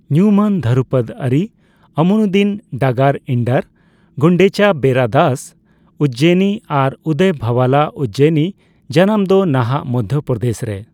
ᱧᱩᱢ ᱟᱱ ᱫᱷᱚᱨᱩᱯᱚᱫ ᱟᱹᱨᱤ ᱟᱢᱤᱱᱩᱫᱫᱤ ᱰᱟᱜᱟᱨ ᱤᱱᱰᱟᱹᱨ, ᱜᱩᱱᱰᱮᱪᱟ ᱵᱮᱨᱟᱫᱟᱥ ᱤᱡᱡᱚᱭᱤᱱᱤ ᱟᱨ ᱩᱫᱚᱭ ᱵᱷᱟᱳᱭᱟᱞ ᱟᱜ ᱤᱡᱡᱚᱭᱤᱱᱤ ᱡᱟᱱᱟᱢ ᱫᱚ ᱱᱟᱦᱟᱜ ᱢᱚᱫᱷᱚ ᱯᱚᱨᱫᱮᱥᱨᱮ ᱾